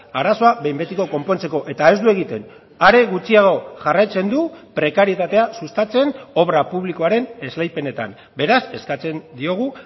arazoa behin betiko konpontzeko eta ez du egiten are gutxiago jarraitzen du prekarietatea sustatzen obra publikoaren esleipenetan beraz eskatzen diogu